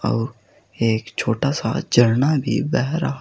और एक छोटा सा झरना भी बह रहा--